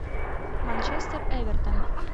манчестер эвертон